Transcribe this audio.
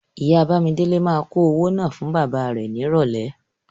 Ìyá Bándélé máa kó owó náà wá fún bàbá rẹ nírọ̀lẹ́.